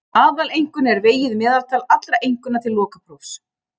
Aðaleinkunn er vegið meðaltal allra einkunna til lokaprófs.